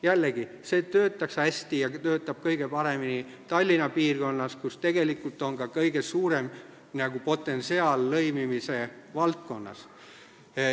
Jällegi, see toimiks kõige paremini Tallinna piirkonnas, kus on tegelikult ka kõige suurem potentsiaal lõimimise valdkonnas.